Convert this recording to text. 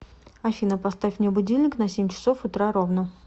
афина поставь мне будильник на семь часов утра ровно